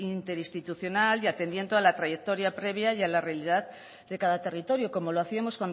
interinstitucional y atendiendo a la trayectoria previa y a la realidad de cada territorio como lo hacíamos